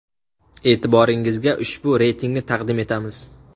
E’tiboringizga ushbu reytingni taqdim etamiz.